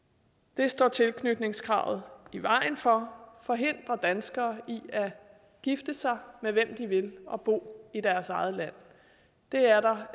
det står tilknytningskravet i vejen for forhindrer danskere i at gifte sig med hvem de vil og bo i deres eget land det er der